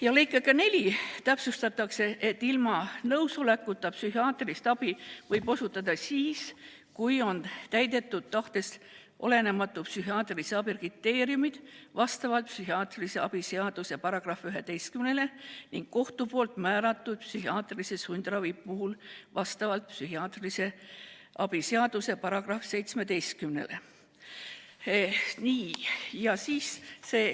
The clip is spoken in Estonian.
Ja lõikega 4 täpsustatakse, et ilma isiku enda nõusolekuta võib psühhiaatrilist abi osutada siis, kui on täidetud tahtest olenematu psühhiaatrilise abi kriteeriumid vastavalt psühhiaatrilise abi seaduse §-le 11 ning kohtu määratud psühhiaatrilise sundravi puhul vastavalt psühhiaatrilise abi seaduse §‑le 17.